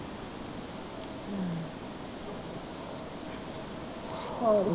ਹੋਰ